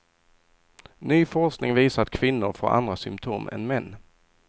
Ny forskning visar att kvinnor får andra symptom än män.